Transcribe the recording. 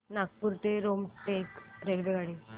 नागपूर ते रामटेक रेल्वेगाडी